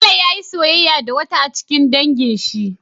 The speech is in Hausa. Bello yayi soyayya da wata a cikin dangin shi